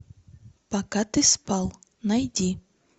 пока ты спал найди